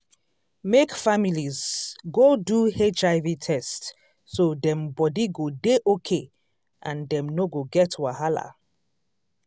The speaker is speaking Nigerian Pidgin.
make families go do hiv test so dem body go dey okay and dem no go get wahala.